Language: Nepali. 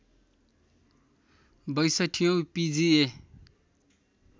६२ औँ पिजिए